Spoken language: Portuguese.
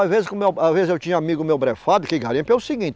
Às vezes ás vezes eu tinha amigo meu, que garimpo, é o seguinte.